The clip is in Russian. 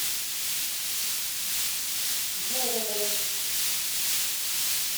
зориной